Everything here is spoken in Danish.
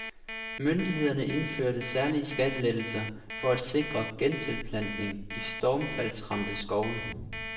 Myndighederne indførte særlige skattelettelser for at sikre gentilplantning i stormfaldsramte skove.